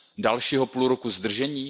Dalšího půl roku zdržení?